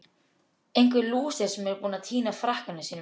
Einhver lúser sem er búinn að týna frakkanum sínum!